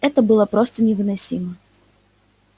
это было просто невыносимо